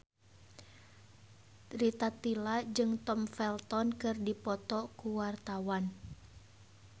Rita Tila jeung Tom Felton keur dipoto ku wartawan